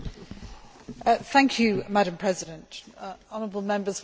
Madam President, the honourable Members will have noticed that I have moved.